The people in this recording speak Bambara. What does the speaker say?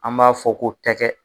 An m'a fɔ ko tɛkɛ.